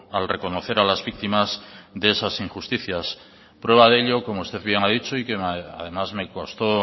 al reconocer a las víctimas de esas injusticias prueba de ello como usted bien ha dicho y que además me costó